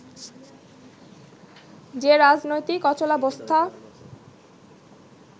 যে রাজনৈতিক অচলাবস্থা